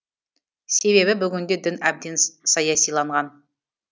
себебі бүгінде дін әбден саясиланған